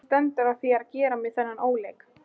Hvernig stendur á þér að gera mér þennan óleik?